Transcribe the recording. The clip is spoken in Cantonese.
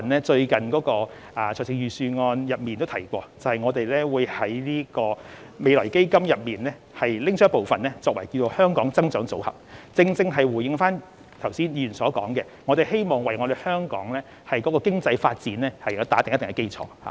最近在預算案中亦已提及，政府會提取未來基金部分款項成立"香港增長組合"，這正可回應議員剛才所說，為促進香港經濟發展打好一定的基礎。